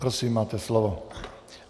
Prosím, máte slovo.